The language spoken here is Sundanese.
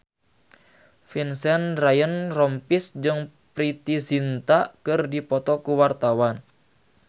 Vincent Ryan Rompies jeung Preity Zinta keur dipoto ku wartawan